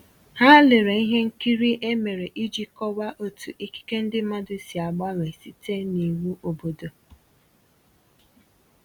Ha lere ihe nkiri e mere iji kọwaa otu ikike ndi mmadụ si agbanwe site n’iwu obodo.